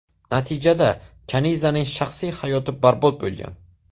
Natijada Kanizaning shaxsiy hayoti barbod bo‘lgan.